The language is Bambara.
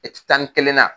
tan ni kelen na